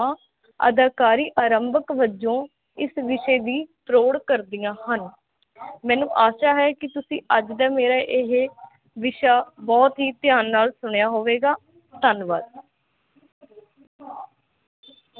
ਅਦਾਕਰੀ ਆਰੰਭਕ ਵਜੋ ਇਸ ਵਿਸ਼ੇ ਦੀ ਫਰੋੜ ਕਰਦਿਆ ਹਨ ਮੇਨੂੰ ਆਸ਼ਾ ਹੈ ਕੀ ਤੁਸੀਂ ਅੱਜ ਦਾ ਮੇਰਾ ਇਹ ਬਹੁਤ ਹੀ ਧਿਆਨ ਨਾਲ ਸੁਣਿਆ ਹੋਵੇਗਾ ਧੰਨਵਾਦ